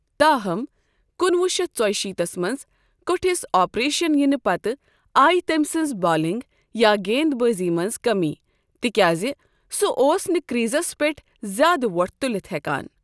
تاہم، کُنہٕ وُہ شتھ ژۄیِہ شیٖتس منز كو٘ٹھِس آپریشن یِنہٕ پتہٕ آیہ تٔمۍ سٕنزِ بالِنگ یا گیند بٲزی منز كمی تِكیازِ سہُ اوس نہٕ كر٘یزس پیٹھ زیادھ وو٘ٹھ تُلِتھ ہیكان ۔